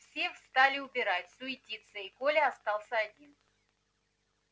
все стали убирать суетиться и коля остался один